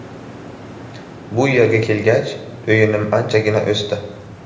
Bu yerga kelgach, o‘yinim anchagina o‘sdi.